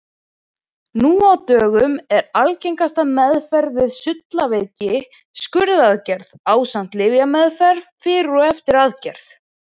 Nú á dögum er algengasta meðferð við sullaveiki skurðaðgerð ásamt lyfjameðferð fyrir og eftir aðgerð.